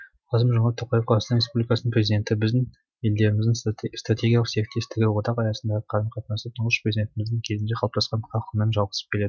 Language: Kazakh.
қасым жомарт тоқаев қазақстан республикасының президенті біздің елдеріміздің стратегиялық серіктестігі одақ аясындағы қарым қатынасы тұңғыш президентіміздің кезінде қалыптасқан қарқынмен жалғасып келеді